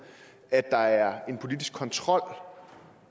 at der er en politisk kontrol